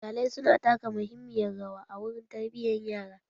Iyalai su na taka muhimmiyan rawa a wurin tarbiyan yara.